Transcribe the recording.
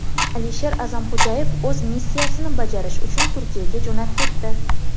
Alisher A’zamxo‘jayev o‘z missiyasini bajarish uchun Turkiyaga jo‘nab ketdi.